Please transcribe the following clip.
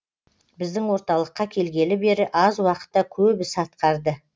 біздің орталыққа келгелі бері аз уақытта көп іс атқарды